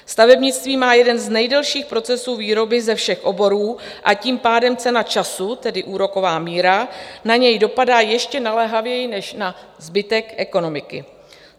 Stavebnictví má jeden z nejdelších procesů výroby ze všech oborů, a tím pádem cena času, tedy úroková míra, na něj dopadá ještě naléhavěji než na zbytek ekonomiky.